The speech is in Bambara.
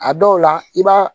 A dɔw la i b'a